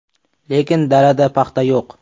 Lekin dalada paxta yo‘q.